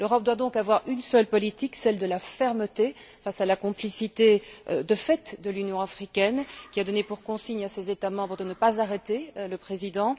L'Europe doit donc avoir une seule politique, celle de la fermeté, face à la complicité de fait de l'Union africaine, qui a donné pour consigne à ses États membres de ne pas arrêter le président.